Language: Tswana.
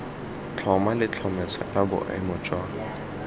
tlhoma letlhomeso la boemo jwa